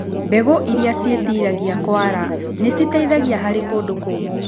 Mbegũ iria ciĩtiragia kwara nĩciteithagia harĩ kũndũ kũmũ.